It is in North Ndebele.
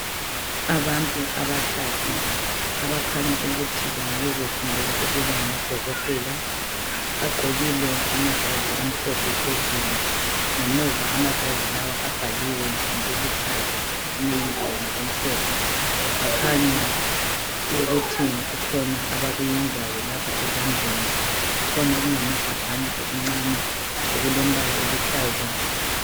Abantu abathathu abakhanya ukuthi bengabe befundela ukuba ngodokotela bagqokile amajazi amhlophe phezulu ngemuva amajazi lawa abhaliwe ngokuluhlaza kwezinye indawo ngokumhlophe bakhanya ukuthi kukhona abakuyenzayo lapha ezandleni. Kukhona okungamagabhana okuncane okulembala eluhlaza.